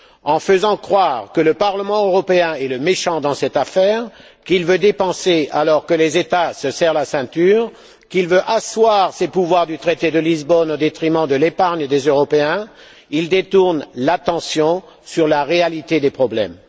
En faisant croire que le Parlement européen est le méchant dans cette affaire, qu'il veut dépenser alors que les États se serrent la ceinture, qu'il veut asseoir les pouvoirs que le traité de Lisbonne lui a conférés au détriment de l'épargne et des Européens, ils détournent l'attention sur la réalité des problèmes.